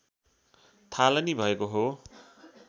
थालनी भएको हो